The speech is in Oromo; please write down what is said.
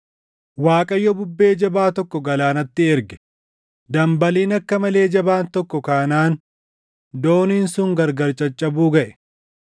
Waaqayyo bubbee jabaa tokko galaanatti erge; dambaliin akka malee jabaan tokko kaanaan dooniin sun gargar caccabuu gaʼe.